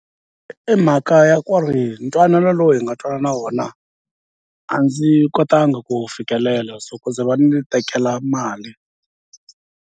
I mhaka ya ku ri ntwanano lowu hi nga twanana wona a ndzi kotanga ku wu fikelela so ku ze va ni tekela mali.